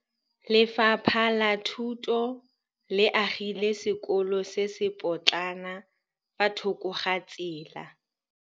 Lefapha la Thuto le agile sekôlô se se pôtlana fa thoko ga tsela.